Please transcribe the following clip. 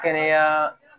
Kɛnɛya